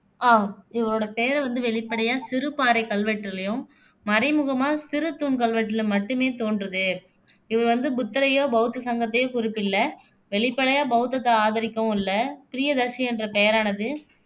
அஹ் இவரோட பேரை வந்து வெளிப்படியா சிறு பாறைக் கல்வெட்டுலயும், மறைமுகமாகச் சிறு தூண் கல்வெட்டுகல மட்டுமே தோன்றுது இவர் வந்து புத்தரையோ, பௌத்த சங்கத்தையோ குறிப்பிடல வெளிப்படையா பௌத்தத்தை ஆதரிக்கவும் இல்ல பிரியதர்சி என்ற பெயரானது